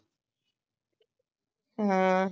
ਹੂ